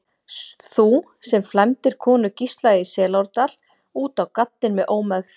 Þú, sem flæmdir konu Gísla í Selárdal út á gaddinn með ómegð.